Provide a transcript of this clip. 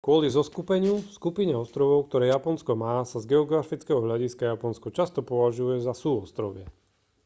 kvôli zoskupeniu/skupine ostrovov ktoré japonsko má sa z geografického hľadiska japonsko často považuje za súostrovie